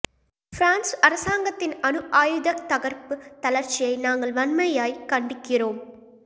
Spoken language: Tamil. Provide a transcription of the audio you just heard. பிரான்ஸ் அரசாங்கத்தின் அணு ஆயுதத் தகர்ப்புத் தளர்ச்சியை நாங்கள் வன்மையாய்க் கண்டிக்கிறோம்